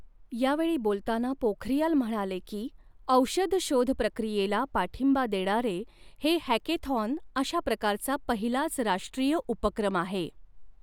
यावेळी बोलताना पोखरियाल म्हणाले की, औषध शोध प्रक्रियेला पाठिंबा देणारे हे हॅकॆथॉन अशा प्रकारचा पहिलाच राष्ट्रीय उपक्रम आहे.